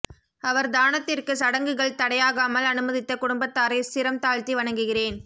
அவர் தானத்திற்கு சடங்குகள் தடையாகாமல் அனுமதித்த குடும்பத்தாரை சிரம் தாழ்த்தி வணங்குகிறேன்